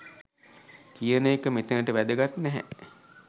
කියන එක මෙතනට වැදගත් නැහැ